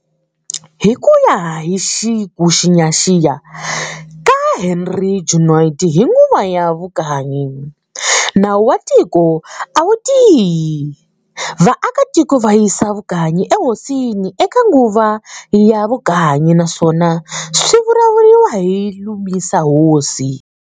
Hi kuya hi kuxiyaxiya ka Henri Junod hi nguva ya vukanyi, nawu wa tiko a wutiyi. Vaakatiko va yisa vukanyi e hosini e ka nguva ya vukanyi naswon swivuriwa ku"Lumisa Hosi".